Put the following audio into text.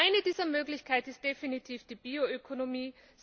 Eine dieser Möglichkeiten ist definitiv die Bioökonomie.